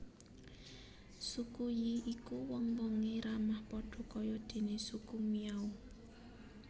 Suku Yi iku wong wonge ramah padha kaya dene Suku Miao